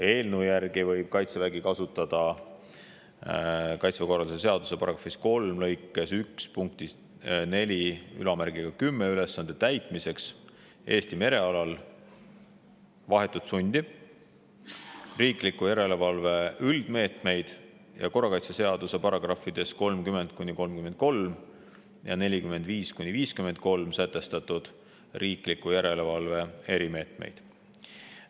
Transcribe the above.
Eelnõu järgi võib Kaitsevägi kasutada Kaitseväe korralduse seaduse § 3 lõikes 1 punktis 410 ülesande täitmiseks Eesti merealal vahetut sundi, riikliku järelevalve üldmeetmeid ning korrakaitseseaduse §-des 30–33 ja 45–53 sätestatud riikliku järelevalve erimeetmeid.